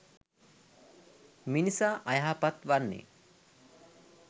මිනිසා අයහපත් වන්නේ